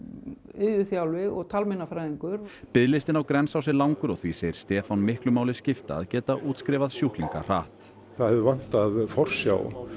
iðjuþjálfi og talmeinafræðingur biðlistinn á Grensás er langur og því segir Stefán miklu máli skipta að geta útskrifað sjúklinga hratt það hefur vantað forsjá